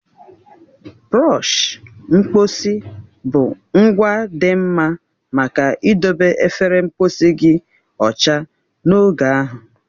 Bụrọshi mkposi bụ ngwa dị mma maka idobe efere mposi gị ọcha n'oge ahụ.